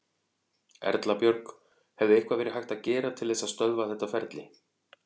Erla Björg: Hefði eitthvað verið hægt að gera til þess að stöðva þetta ferli?